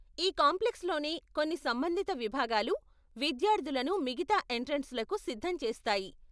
ఈ కాంప్లెక్స్లోనే కొన్ని సంబంధిత విభాగాలు విద్యార్ధులను మిగతా ఎంట్రెన్స్లకు సిద్ధం చేస్తాయి.